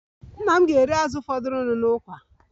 Nna m ga-eri azụ fọdụrụnụ n'ukwa